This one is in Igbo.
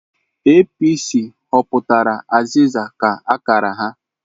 APC họpụtara aziza ka akara ha.